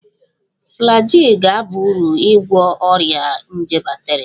Flagyl ga-aba uru n'ịgwọ ọrịa nje bakteria